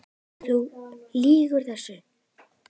Þú lýgur þessu!